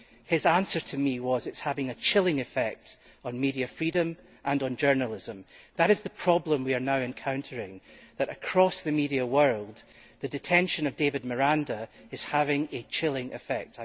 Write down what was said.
His answer to me was that it was having a chilling effect on media freedom and on journalism. That is the problem we are now encountering, that across the media world the detention of David Miranda is having a chilling effect'.